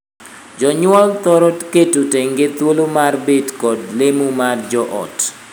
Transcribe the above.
Jonyuol thoro keto tenge thuolo mar bet kod lemo mar joot.